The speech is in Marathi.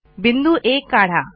बिंदू आ काढा